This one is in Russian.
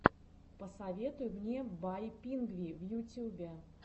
посоветуй мне бай пингви в ютюбе